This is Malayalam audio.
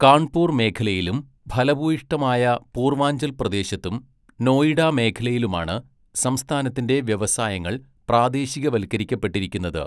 കാൺപൂർ മേഖലയിലും ഫലഭൂയിഷ്ഠമായ പൂർവാഞ്ചൽ പ്രദേശത്തും, നോയിഡ മേഖലയിലുമാണ് സംസ്ഥാനത്തിന്റെ വ്യവസായങ്ങൾ പ്രാദേശികവൽക്കരിക്കപ്പെട്ടിരിക്കുന്നത്.